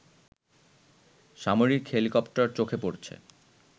সামরিক হেলিকপ্টার চোখে পড়ছে